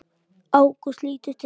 Ágúst lítur til hans.